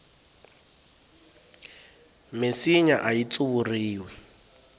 minsinya ayi tsuvuriwi